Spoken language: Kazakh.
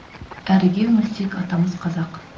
әріге үңілсек атамыз қазақ